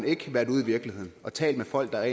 ikke været ude i virkeligheden og talt med folk der